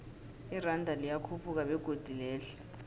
iranda liyakhuphuka begodu lehle